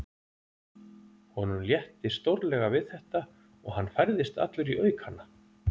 Honum létti stórlega við þetta og hann færðist allur í aukana.